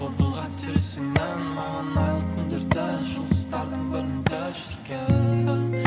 қол бұлға маған айлы түндерді жұлдыздардың бірінде жүрген